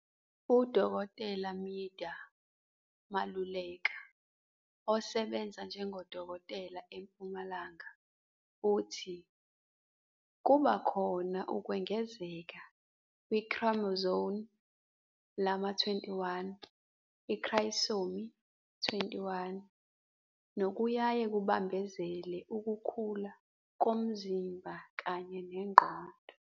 UDkt Midah Maluleka osebenza njengodokotela eMpumalanga uthi, "kuba khona ukwengezeka kwi-chromosome lama-21, iTrisomy 21, nokuyaye kubambezele ukukhula komzimba kanye nengqondo.